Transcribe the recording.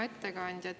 Hea ettekandja!